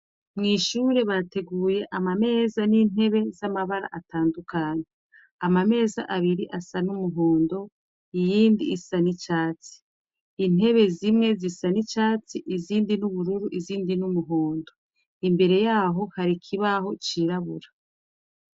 Mw'ishure bateguye ama meza n'intebe z'amabara atandukanye. Ama meza abiri asa n'umuhondo iyindi isa n'icatsi. Intebe zimwe zisa n'icatsi izindi n'ubururu izindi n'umuhondo. Imbere yaho hari ikibaho cirabura.